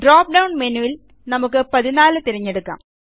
drop-down മെനുവിൽ നമുക്ക് 14 തിരഞ്ഞെടുക്കാം